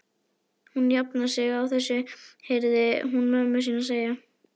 Hún jafnar sig á þessu heyrði hún mömmu sína segja.